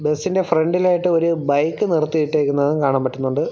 ബസിൻ്റെ ഫ്രോണ്ടിലായിട്ടു ഒരു ബൈക്ക് നിർത്തിയിട്ടെക്കുന്നതും കാണാൻ പറ്റുന്നുണ്ട്.